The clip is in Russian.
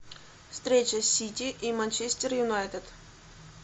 встреча сити и манчестер юнайтед